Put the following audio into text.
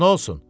Hə, nə olsun?